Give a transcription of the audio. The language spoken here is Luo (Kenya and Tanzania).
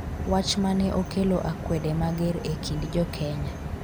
wach mane okelo akwede mager e kind jokenya